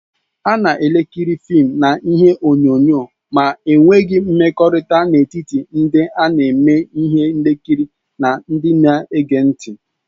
A na-ekiri fịịm na ihe onyonyo ma e nweghị mmekọrịta n'etiti ndị na-eme ihe nkiri na ndị na-ege ntị.